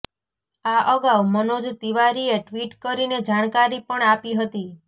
આ અગાઉ મનોજ તિવારીએ ટ્વીટ કરીને જાણકારી પણ આપી હતી